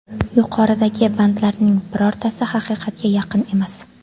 Yuqoridagi bandlarning birortasi haqiqatga yaqin emas.